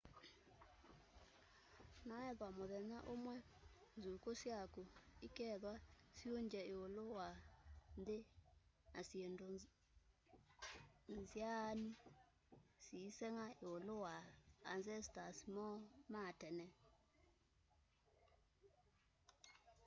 noethwa muthenya umwe nzukuku syaku ikethwa siungye iulu wa nthi ya syindu nzaanu syiisenga iulu wa ancestors moo ma tene